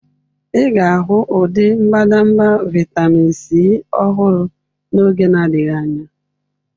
Ị ga-ahụ ụdị mbadamba vitamin C ọhụrụ n'oge na-adịghị anya.